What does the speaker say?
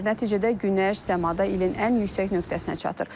Nəticədə günəş səmada ilin ən yüksək nöqtəsinə çatır.